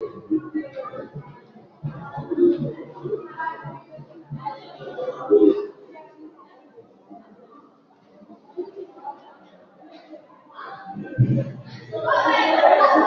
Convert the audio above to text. Di mara ọrụ ya na-elekọta nwunye ya nke ọma.